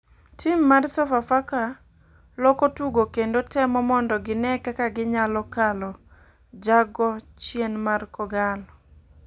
Tim mar sofa faka loko tugo kendo temo mondo gine kaka ginyalo kalo jago chien mar kogallo